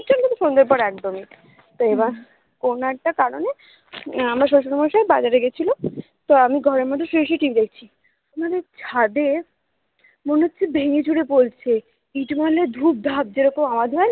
সন্ধ্যের পর একদমই তো এবার কোনো একটা কারণে আমার শশুর মশাই বাজারে গেছিলো তো আমি ঘরের মধ্যে শুয়ে শুয়ে TV দেখছি আমাদের ছাদে মনে হচ্ছে ভেঙে ছুড়ে পড়ছে কিছু ভাঙলে ধুপধাপ যেরকম আওয়াজ হয় না